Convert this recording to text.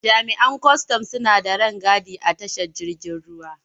Jami'an kwastan suna da rangadi a tashar jirgin ruwa.